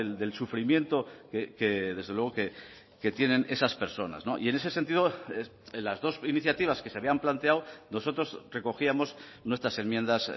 del sufrimiento que desde luego que tienen esas personas y en ese sentido las dos iniciativas que se habían planteado nosotros recogíamos nuestras enmiendas